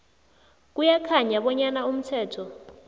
kuyakhanya bonyana umthetho